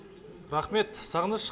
рахмет сағыныш